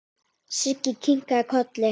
Siggi kinkaði kolli.